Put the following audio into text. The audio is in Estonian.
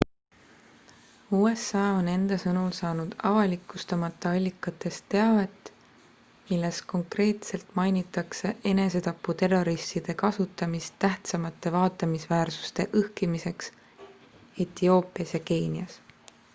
usa on enda sõnul saanud avalikustamata allikast teavet milles konkreetselt mainitakse enesetaputerroristide kasutamist tähtsamate vaatamisväärsuste õhkimiseks etioopias ja keenias